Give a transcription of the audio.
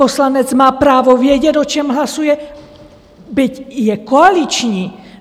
Poslanec má právo vědět, o čem hlasuje, byť je koaliční.